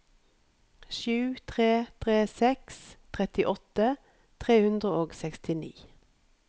sju tre tre seks trettiåtte tre hundre og sekstini